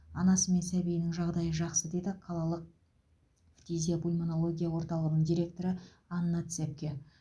анасы мен сәбиінің жағдайы жақсы деді қалалық фтизиопульмонология орталығының директоры анна цепке